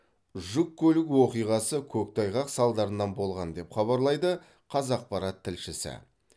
жол көлік оқиғасы көктайғақ салдарынан болған деп хабарлайды қазақпарат тілшісі